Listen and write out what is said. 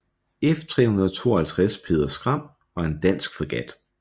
F352 Peder Skram var en dansk fregat